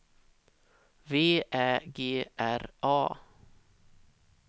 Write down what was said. V Ä G R A